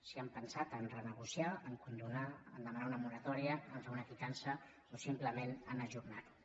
si han pensat a renegociar a condonar a demanar una moratòria a fer una quitança o simplement a ajornar ho